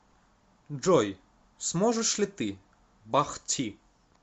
джой сможешь ли ты бах ти